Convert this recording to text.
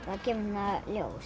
að geyma